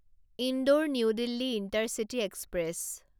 Indore New Delhi intercity express